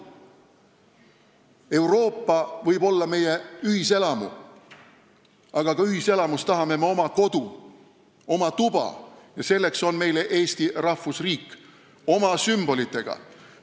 Euroopa võib olla meie ühiselamu, aga ka ühiselamus tahame me oma kodu, oma tuba – selleks on meil Eesti rahvusriik oma sümbolitega.